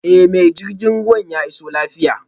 Eh mai jirgin ruwa ya iso lafiya jiya